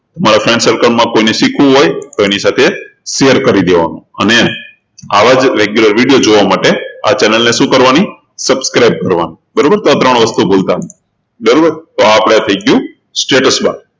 તમારા friend circle માં કોઈને શીખવું હોય તો એની સાથે share કરી દેવાનું અને આવા જ regularvideo જોવા માટે આ channel ને શું કરવાની subscribe કરવાની બરોબર તો આ ત્રણ વસ્તુ ભુલ્તા નહી બરોબર તો આ થઇ ગયું status bar